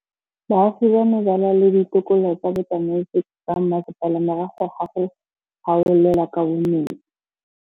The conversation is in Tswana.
Baagi ba ne ba lwa le ditokolo tsa botsamaisi ba mmasepala morago ga go gaolelwa kabo metsi.